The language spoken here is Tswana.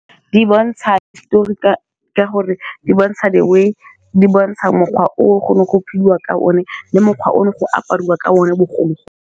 Di bontsha hisitori ka gore di bontsha the way di bontsha mokgwa o go ne go phediwa ka one le mokgwa o no go apariwa ka one bogolo.